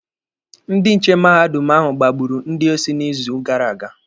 Ndị nche mahadum ahụ gbagburu ndị osi n'izu gara aga